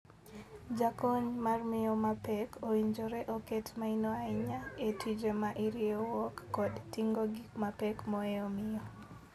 Jakony mar miyo ma pek owinjore oket maino ahinya e tije ma iriewruok kod tingo gik mapek mohewo miyo.